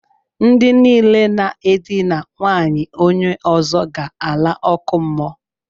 Ndi niile na e dina nwaanyị onye ozo ga ala oku muo.